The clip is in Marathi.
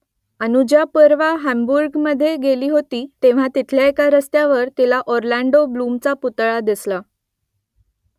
अनुजा परवा हँबुर्गमधे गेली होती तेव्हा तिथल्या एका रस्त्यावर तिला ऑरलँडो ब्लूमचा पुतळा दिसला